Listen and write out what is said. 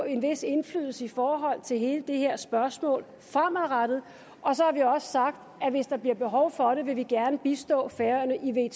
en vis indflydelse i forhold til hele det her spørgsmål fremadrettet og så har vi også sagt at hvis der bliver behov for det vil vi gerne bistå færøerne i